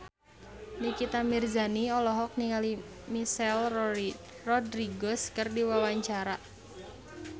Nikita Mirzani olohok ningali Michelle Rodriguez keur diwawancara